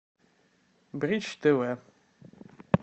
бридж тв